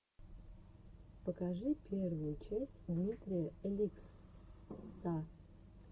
покажи первую часть дмитрия ликсссса